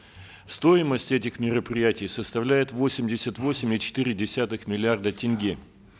стоимость этих мероприятий составляет восемьдесят восемь и четыре десятых миллиарда тенге